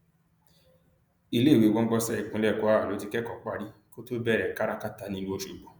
iléèwé gbọgbọnsẹ ìpínlẹ kwara ló ti kẹkọ parí kó tóó bẹrẹ kárákáta nílùú ọṣọgbó